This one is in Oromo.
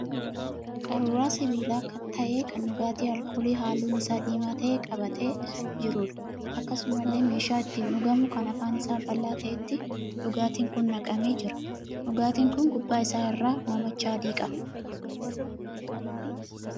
Qaruuraa sibiila ta'e kan dhugaatii alkoolii halluun isaa diimaa ta'e qabatee jiruudha. Akkasumallee meeshaa ittiin dhugamu kan afaan isaa bal'aa ta'etti dhugaatiin kun naqamee jira. dhugaatiin kun gubbaa isaa irraa hoomacha adii qaba.